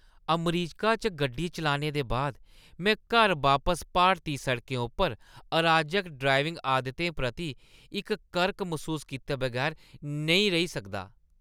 अमरीका च गड्डी चलाने दे बाद, में घर बापस भारती सड़कें उप्पर अराजक ड्राइविंग आदतें प्रति इक करक मसूस कीते बगैर नेईं रेही सकदा।